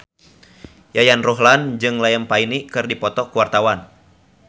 Yayan Ruhlan jeung Liam Payne keur dipoto ku wartawan